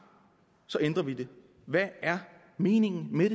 ændrer man det hvad er meningen med